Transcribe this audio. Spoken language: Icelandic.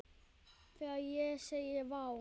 Þegar ég segi: Vá!